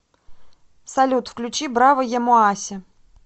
салют включи браво ямоаси